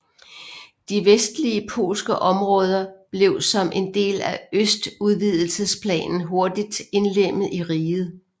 De vestlige polske områder blev som en del af østudvidelsesplanen hurtigt indlemmet i riget